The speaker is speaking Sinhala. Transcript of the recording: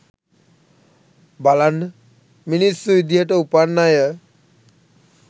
බලන්න මිනිස්සු විදිහට උපන් අය